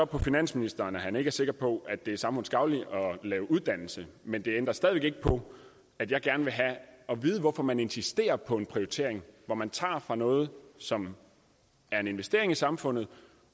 på finansministeren at han ikke er sikker på at det er samfundsgavnligt at lave uddannelse men det ændrer stadig væk ikke på at jeg gerne vil have at vide hvorfor man insisterer på en prioritering hvor man tager fra noget som er en investering i samfundet